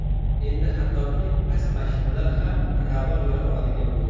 Endi hattoki past mashinalar ham ravon yura oladigan bo‘ldi.